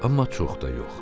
Amma çox da yox.